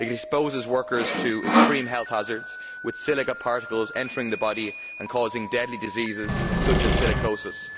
It exposes workers to extreme health hazards, with silica particles entering the body and causing deadly diseases such as silicosis.